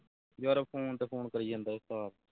ਯਾਰ phone ਤੇ phone ਕਰੀ ਜਾਂਦਾ ਈ ਉਸਤਾਦ